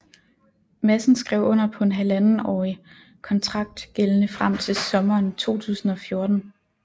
Madsen skrev under på en halvandetårig kontrakt gældende frem til sommeren 2014